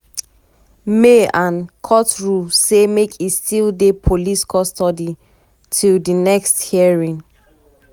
may and court rule say make e still dey police custody till di di next hearing.